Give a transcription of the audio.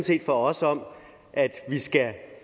set for os om at vi skal